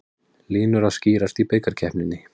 Línur að skýrast í bikarkeppninni